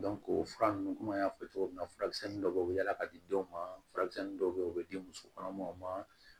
o fura ninnu komi an y'a fɔ cogo min na furamisɛn dɔ be yala ka di denw ma furakisɛnin dɔw be ye o be di muso kɔnɔmaw ma